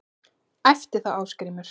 æpti þá Ásgrímur